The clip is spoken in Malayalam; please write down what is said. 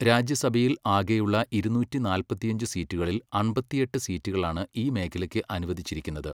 രാജ്യസഭയിൽ ആകെയുള്ള ഇരുന്നൂറ്റി നാല്പത്തിയഞ്ച് സീറ്റുകളിൽ അമ്പത്തിയെട്ട് സീറ്റുകളാണ് ഈ മേഖലയ്ക്ക് അനുവദിച്ചിരിക്കുന്നത്.